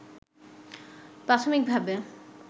প্রাথমিকভাবে